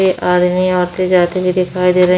आदमी आते जाते हुए दिखाई दे रहे --